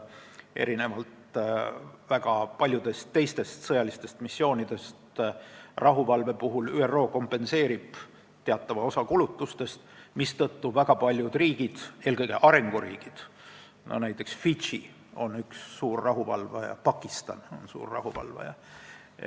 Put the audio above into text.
Erinevalt väga paljudest teistest sõjalistest missioonidest ÜRO kompenseerib rahuvalve puhul teatava osa kulutustest, mistõttu väga paljud riigid, eelkõige arenguriigid, on suured rahuvalvajad, näiteks Fidži ja Pakistan.